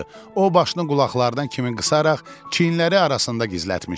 O başını qulaqların kəminə qısaraq çiyinləri arasında gizlətmişdi.